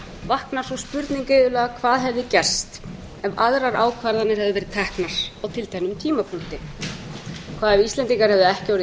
vaknar sú spurning iðulega hvað hefði gerst ef aðrar ákvarðanir hefðu verið teknar á tilteknum tímapunkti hvað ef íslendingar hefðu ekki orðið